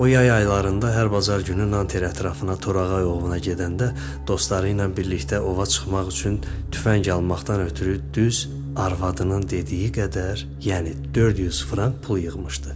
O yay aylarında hər bazar günü Nante ətrafına torağa ovuna gedəndə dostları ilə birlikdə ova çıxmaq üçün tüfəng almaqdan ötrü düz arvadının dediyi qədər, yəni 400 frank pul yığmışdı.